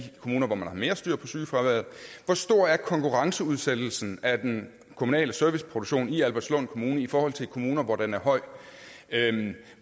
kommuner hvor man har mere styr på sygefraværet hvor stor er konkurrenceudsættelsen af den kommunale serviceproduktion i albertslund kommune i forhold til i kommuner hvor den er høj